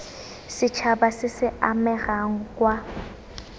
setšhaba se se amegang kwa